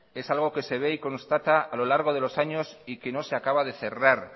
es algo que se ve y constata a lo largo de los años y que no se acaba de cerrar